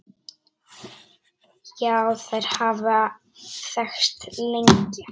Já, þær hafa þekkst lengi.